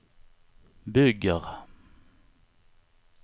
bygger